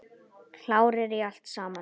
Klárir í allt saman?